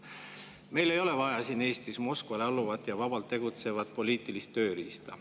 Meil ei ole vaja siin Eestis Moskvale alluvat ja vabalt tegutsevat poliitilist tööriista.